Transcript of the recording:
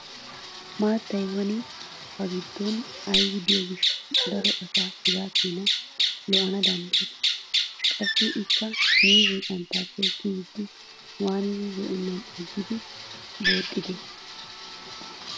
Maattay woni ba giddon aybi diyo gishshawu daro asaa hegaa keenaa lo'ana danddayidee? Qassi ikka miizzee xanttaaple kiyiiddi waanidi zo'ennan aggidi booxxidee?